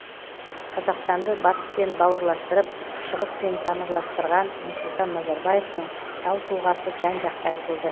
қазақстанды батыспен бауырластырып шығыспен тамырластырған нұрсұлтан назарбаевтың тау тұлғасы жан жақты айтылды